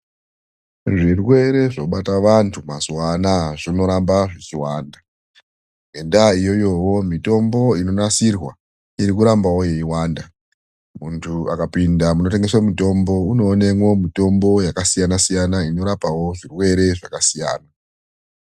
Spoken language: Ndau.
Zvirwere zvinobata vanhu mazuwa anaa zvinoramba zvichiwanda. Ngendaa iyoyo mitombo inonasirwa iri kurambawo ichiwanda. Munthu akapinda munotengeswe mitombo unoonemwo mitombo yakasiyana siyana unorapawo zvirwere zvakasiyana.